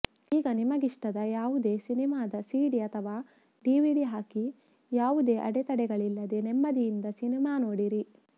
ಈಗ ನಿಮಗಿಷ್ಟದ ಯಾವುದೇ ಸಿನಿಮಾದ ಸಿಡಿ ಅಥವಾ ಡಿವಿಡಿ ಹಾಕಿ ಯಾವುದೇ ಅಡೆ ತಡೆಗಳಿಲ್ಲದೆ ನೆಮ್ಮದಿಯಿಂದ ಸಿನಿಮಾ ನೋಡಿರಿ